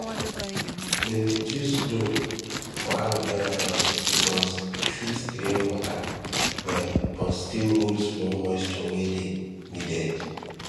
dem dey choose loam for aloe vera farming because e fit drain water well but still hold small moisture wey dey needed